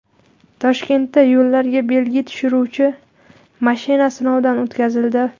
Toshkentda yo‘llarga belgi tushiruvchi mashina sinovdan o‘tkazildi.